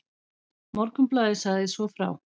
Morgunblaðið sagði svo frá